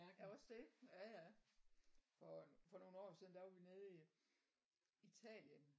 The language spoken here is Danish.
Ja også det. Ja ja. For øh for nogen år siden der var vi nede i Italien